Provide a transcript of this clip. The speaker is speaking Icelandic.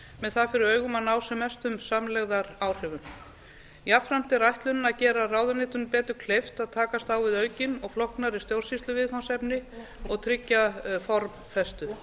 með það fyrir augum að ná sem mestum samlegðaráhrifum jafnframt er ætlunin að gera ráðuneytunum betur kleift að takast á við aukin og flóknari stjórnsýsluviðfangsefni og tryggja formfestu